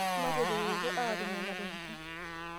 mataretoto aatum nena tokitin